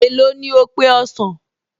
Èló ni ó pe ọsàn?